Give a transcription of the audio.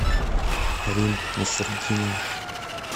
рим насыртдинова